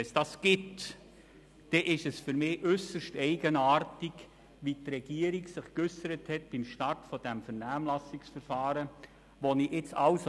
Wenn es solche Vorstösse gibt, dann finde ich es äusserst eigenartig, wie die Regierung sich beim Start dieses Vernehmlassungsverfahrens geäussert hat.